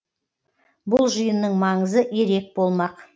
бұл жиынның маңызы ерек болмақ